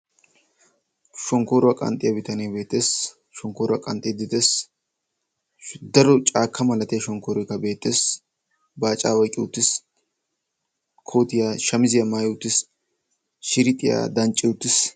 Shonkkoruwa qanxxiya bitanee beettees. Shonkkoruwa qanxxiiddi dees. Daro caakka malatiya shonkkooroykka beettees. Baacaa oyqqi uttiis. Kootiya shamisiya maayi uttiis. shirixiya dancci uttiis.